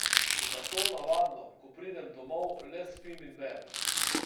Zato navadno, ko pridem domov, le spim in berem.